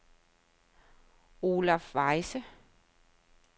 Olaf Wiese